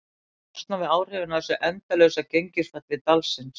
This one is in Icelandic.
Við þurfum að losna við áhrifin af þessu endalausa gengisfalli dalsins.